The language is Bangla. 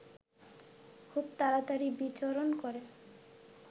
খুব তাড়াতাড়ি বিচরণ করে